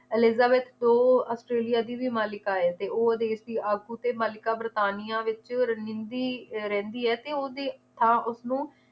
Elizabeth ਕੋ Australia ਦੀ ਵੀ ਮਲਿਕਾ ਆ ਤੇ ਉਹ ਵਿਦੇਸ਼ੀ ਆਗੂ ਤੇ ਮੱਲਿਕਾ ਵਰਤਾਨੀਆ ਵਿਚ ਰਨਨਿੰਦੀ ਰਹਿੰਦੀ ਏ ਤੇ ਓਹਦੀ ਥਾਂ ਉਸਨੂੰ